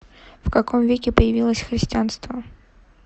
в каком веке появилось христианство